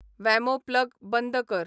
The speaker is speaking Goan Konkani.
वॅमो प्लग बंद कर